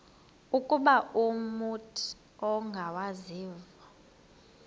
ukuba umut ongawazivo